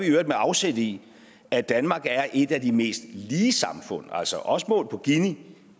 øvrigt med afsæt i at danmark er et af de mest lige samfund altså også målt på gini